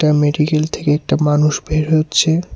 Medical থেকে একটা মানুষ বের হচ্ছে।